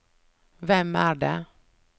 hvem er det